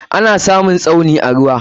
Ana samun Tsauni a ruwa.